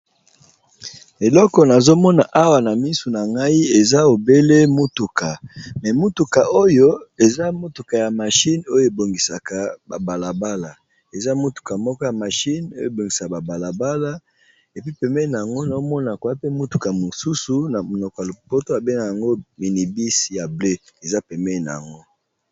Eloko nazo mona awa na misu na ngai eza obele motuka mais motuka oyo eza motuka ya machine oyo e bongisaka ba balabala, eza motuka moko ya machine oyo e bongisa ba balabala et puis pembeni n'ango nazo mona koza pe motuka mosusu na monoko ya lopoto ba bengaka yango minibus, ya bleue eza pembeni n'ango .